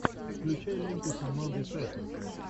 включай ленту с амандой сейфрид